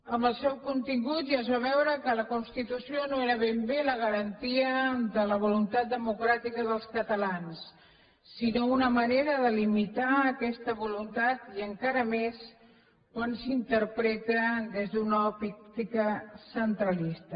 amb el seu contingut ja es va veure que la constitució no era ben bé la garantia de la voluntat democràtica dels catalans sinó una manera de limitar aquesta voluntat i encara més quan s’interpreta des d’una òptica centralista